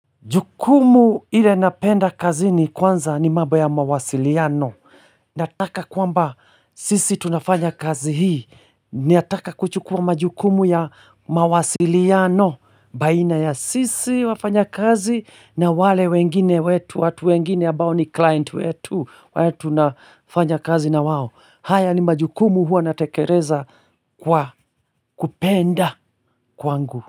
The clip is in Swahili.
Jukumu ile napenda kazini kwanza ni mambo ya mawasiliano Nataka kwamba sisi tunafanya kazi hii Nataka kuchukua majukumu ya mawasiliano baina ya sisi wafanyakazi na wale wengine wetu. Watu wengine ambao ni client wetu wale tunafanya kazi na wao. Haya ni majukumu huwa natekeleza kwa kupenda kwangu.